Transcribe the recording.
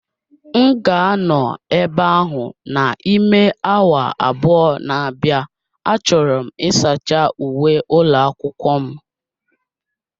M ga-anọ ebe ahụ n'ime awa abụọ na-abịa, achọrọ m ịsacha uwe ụlọ akwụkwọ m